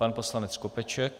Pan poslanec Skopeček.